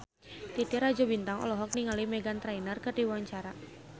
Titi Rajo Bintang olohok ningali Meghan Trainor keur diwawancara